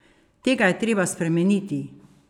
Tega je treba spremeniti!